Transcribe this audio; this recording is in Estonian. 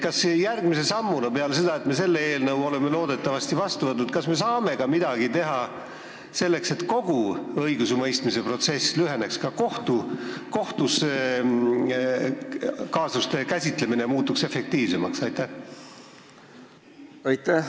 Kas me saame järgmise sammuna peale seda, kui me oleme loodetavasti selle eelnõu vastu võtnud, midagi teha selleks, et kogu õigusemõistmise protsess lüheneks, et ka kaasuste käsitlemine kohtus muutuks efektiivsemaks?